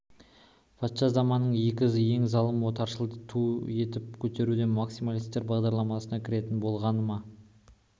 патша заманының ең залым отаршылын ту етіп көтеру де максималистер бағдарламасына кіретін болғаны ма